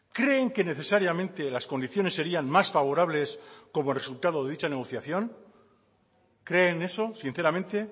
creen que necesariamente las condiciones serían más favorables como resultado de dicha negociación creen eso sinceramente